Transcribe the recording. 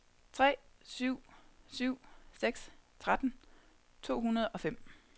tre syv syv seks tretten to hundrede og fem